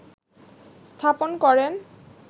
স্থাপন করেন